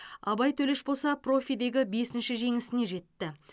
абай төлеш болса профидегі бесінші жеңісіне жетті